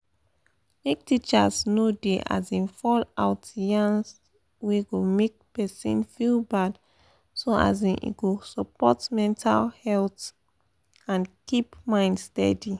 make teachers no da um fall out yans wey go make person feel bad so um e go support better mental health and keep mind steady.